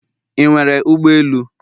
Ị nwere ụgbọ elu?